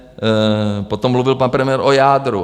Potom mluvil pan premiér o jádru.